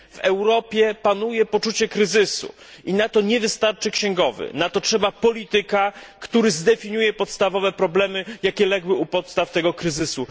W Europie panuje poczucie kryzysu i na to nie wystarczy księgowy, na to trzeba polityka, który zdefiniuje podstawowe problemy, jakie legły u podstaw tego kryzysu.